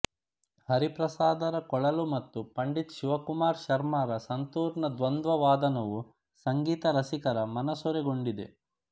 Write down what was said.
ಹರಿಪ್ರಸಾದರ ಕೊಳಲು ಮತ್ತು ಪಂಡಿತ್ ಶಿವಕುಮಾರ್ ಶರ್ಮಾರ ಸಂತೂರ್ನ ದ್ವಂದ್ವ ವಾದನವು ಸಂಗೀತ ರಸಿಕರ ಮನಸೂರೆಗೊಂಡಿದೆ